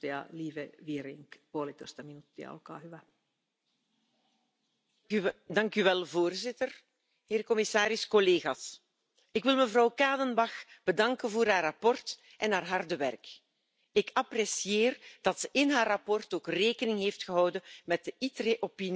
Dringend bräuchten wir Alternativen zum Antibiotikum. Aber diese Alternativen gibt es nicht, jedenfalls noch nicht. Wir müssen die Entwicklung fördern. Deshalb müssen wir mit dem, was wir haben, viel verantwortlicher umgehen. Die Hälfte der Antibiotika werden ja vom Kranken unsachgemäß